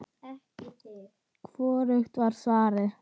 Hvorugt var svarið.